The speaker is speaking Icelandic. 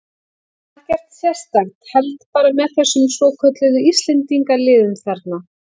Ekkert sérstakt, held bara með þessum svokölluðu Íslendingaliðum þarna.